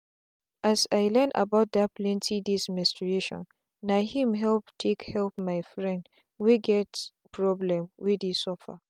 as i learn about that plenty days menstruationna him help take help my friend wey get problem wey dey suffer.